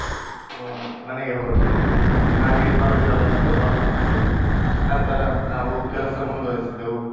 ಅಹ್ ಮನೆಗೆ ಹೋದ್ವಿ. ಹಾಗೆ ಮರುದಿನ ಬಂದು office ನಲ್ಲಿ ನಂತರ ನಾವು ಕೆಲಸ ಮುಂದುವರೆಸಿದೆವು.